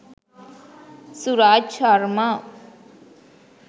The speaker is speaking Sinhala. suraj sharma